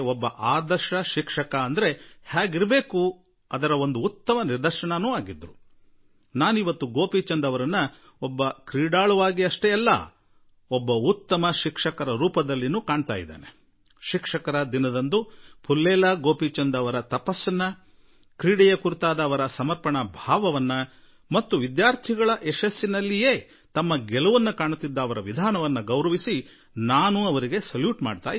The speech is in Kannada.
ಆದರೆ ಅವರನ್ನು ಅದಕ್ಕಿಂತ ಹೆಚ್ಚಾಗಿ ಒಬ್ಬ ಉತ್ತಮ ಶಿಕ್ಷಕರ ರೂಪದಲ್ಲಿ ನೋಡುತ್ತಿರುವೆ ಮತ್ತು ಶಿಕ್ಷಕರ ದಿನದಂದು ಪುಲ್ಲೇಲ ಗೋಪಿಚಿಂದ್ ಜೀ ಅವರ ತಪಸ್ಸಿಗಾಗಿ ಕ್ರೀಡೆಗೆ ಪ್ರತಿಯಾಗಿ ಅವರ ಸಮರ್ಪಣೆಗೆ ಹಾಗೂ ತಮ್ಮ ವಿದ್ಯಾರ್ಥಿಗಳ ಯಶಸ್ಸಿನಲ್ಲಿ ಆನಂದ ಕಾಣುವ ಅವರ ವಿಧಾನಕ್ಕೆ ನಾನು ನಮಿಸುವೆ